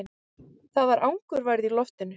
Það var angurværð í loftinu.